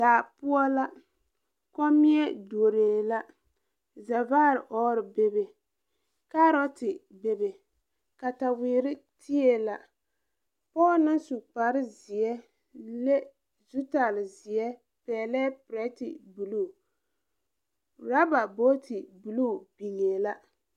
Daa poɔ la kommie duoree la zɛvaare ɔɔre bebe kaarote bebe katawirre tee la pɔɔ naŋ su kparezeɛ le zutalzeɛ pɛɛlɛɛ pirɛte bluu raba boote bluu biŋee la.